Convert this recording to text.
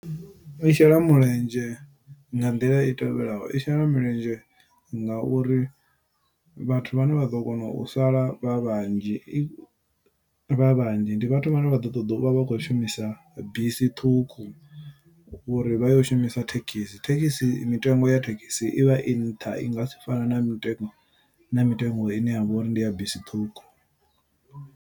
I shela mulenzhe nga nḓila i tevhelaho, i shela mulenzhe nga uri vhathu vhane vha ḓo kona u sala vha vhanzhi, i vha vhanzhi ndi vhathu vhane vha ḓo ṱoḓa u vha khou shumisa bisi ṱhukhu, uri vha ye u shumisa thekhisi. Thekhisi mitengo ya thekhisi i vha i nṱha, i ngasi fane na mitengo, na mitengo ine ya vha uri ndi ya bisi ṱhukhu.